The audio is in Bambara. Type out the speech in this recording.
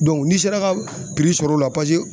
n'i sera ka sɔrɔ o la paseke